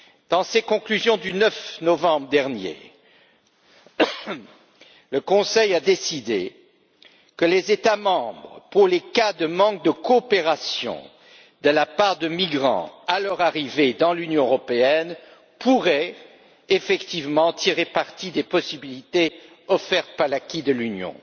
Dans ses conclusions du 9 novembre dernier, le Conseil a décidé que les États membres, pour les cas de manque de coopération de la part de migrants à leur arrivée dans l'Union européenne, pourraient effectivement tirer parti des possibilités offertes par l'acquis de l'Union.